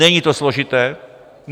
Není to složité.